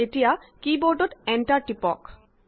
এতিয়া কী বৰ্ডত এণ্টাৰ দবাওক